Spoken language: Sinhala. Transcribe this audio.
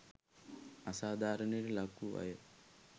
අසාධාරණයට ලක් වූ අය